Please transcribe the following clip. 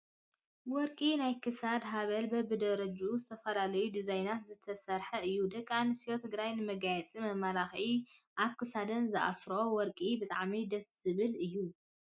ወርቂ ናይ ክሳድ ሃበል በቢደረጅኡ ዝተፈላለዩ ዲዛይን ዝተሰረሓ እዩ። ደቂ ኣንስትዮ ትግራይ ንመጋየፅን መመላክዕን ኣብ ክሳደን ዝኣስረኦ ወርቂ ብጣዕሚ ደስ ዝብል እዩ።